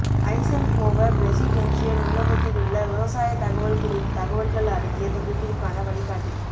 Eisenhower presidential நூலகத்திலுள்ள விவசாய தகவல் குறித்த தகவல்கள் அடங்கிய தொகுப்பிற்கான வழிகாட்டி